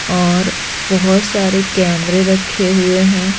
और बहुत सारे कैमरे रखे हुए हैं।